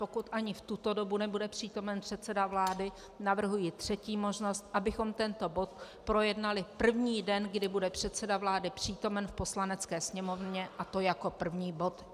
Pokud ani v tuto dobu nebude přítomen předseda vlády, navrhuji třetí možnost, abychom tento bod projednali první den, kdy bude předseda vlády přítomen v Poslanecké sněmovně, a to jako první bod.